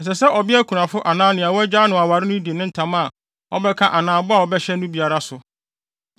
“Ɛsɛ sɛ ɔbea kunafo anaa nea wɔagyaa no aware no di ne ntam a ɔbɛka anaa bɔ a ɔbɛhyɛ no biara so.